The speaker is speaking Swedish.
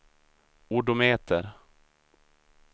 odometer